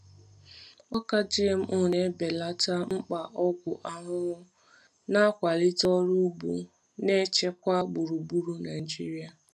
Ọka GMO na-ebelata mkpa ọgwụ ahụhụ, na-akwalite ọrụ ugbo na-echekwa gburugburu Naijiria.